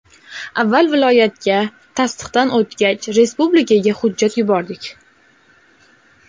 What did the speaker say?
Avval viloyatga, tasdiqdan o‘tgach, respublikaga hujjat yubordik.